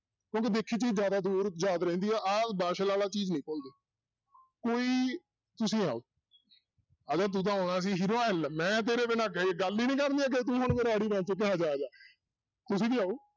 ਕਿਉਂਕਿ ਦੇਖੀ ਚੀਜ਼ ਜ਼ਿਆਦਾ ਦੇਰ ਯਾਦ ਰਹਿੰਦੀ ਆ, ਆਹ ਵਾਲਾ ਚੀਜ਼ ਨੀ ਭੁੱਲਦੇ ਕੋਈ ਤੁਸੀਂ ਆਓ ਆ ਜਾ ਤੂੰ ਤਾਂ ਆਉਣਾ ਸੀ hero ਆ ਲੈ ਮੈਂ ਤੇਰੇ ਬਿਨਾਂ ਕਹੇ ਗੱਲ ਹੀ ਨੀ ਕਰਨੀ ਅੱਗੇ ਤੂੰ ਹੁਣ ਮੇਰਾ ਆੜੀ ਬਣ ਚੁੱਕਿਆ ਆਜਾ ਆਜਾ ਤੁਸੀਂ ਵੀ ਆਓ।